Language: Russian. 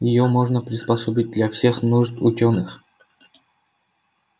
её можно приспособить для всех нужд учёных